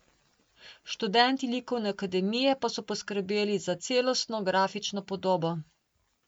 Študenti likovne akademije pa so poskrbeli za celostno grafično podobo.